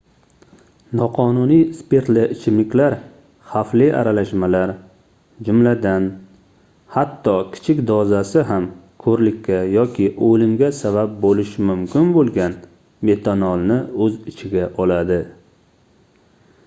noqonuniy spirtli ichimliklar xavfli aralashmalar jumladan hatto kichik dozasi ham koʻrlikka yoki oʻlimga sabab boʻlishi mumkin boʻlgan metanolni oʻz ichiga oladi